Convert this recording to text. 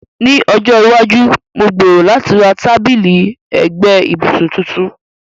Ní ọjọ́ iwájú, mo gbèrò láti ra tábìlì ẹ̀gbẹ́ ibùsùn tuntun.